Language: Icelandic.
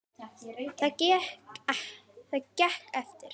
Það gekk eftir.